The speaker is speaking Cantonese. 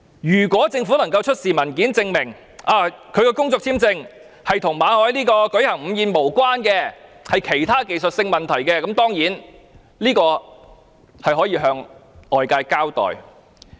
如果政府能夠出示文件，證明拒發馬凱工作簽證與他舉行午餐會無關，而是由於其他技術性問題，那當然可以向外界交代。